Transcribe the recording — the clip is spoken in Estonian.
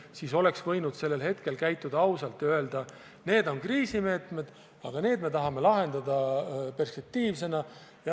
Meile oleks võidud ausalt öelda, et need on kriisimeetmed, aga need meetmed me tahame lahendada perspektiivsena.